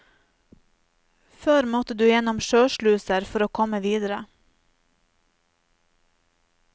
Før måtte du gjennom sjøsluser for å komme videre.